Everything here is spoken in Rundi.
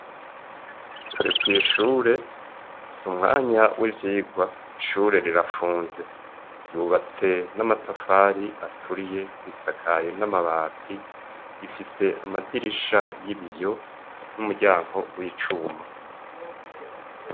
Turi kw'ishure s'umwanya w'ivyirwa ishure rirafunze, ryubatse n'amatafari aturiye risakaye n'amabati rifise amadirisha y'ibiyo n'umuryango w'icuma.